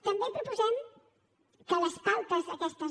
també proposem que les pautes aquestes